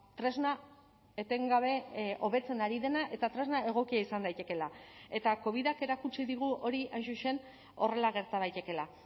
tresna etengabe hobetzen ari dena eta tresna egokia izan daitekeela eta covidak erakutsi digu hori hain zuzen horrela gerta daitekeela